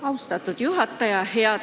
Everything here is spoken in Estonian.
Austatud juhataja!